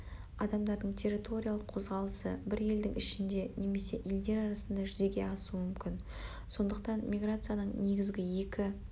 адамдардың территориялық қозғалысы бір елдің ішінде немесе елдер арасында жүзеге асуы мүмкін сондықтан миграцияның негізгі екі